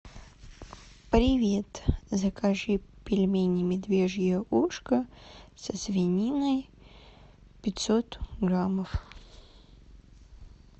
привет закажи пельмени медвежье ушко со свининой пятьсот граммов